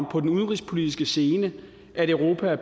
på den udenrigspolitiske scene er europa